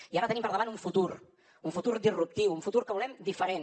i ara tenim per davant un futur un futur disruptiu un futur que volem diferent